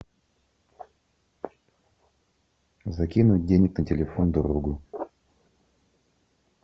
закинуть денег на телефон другу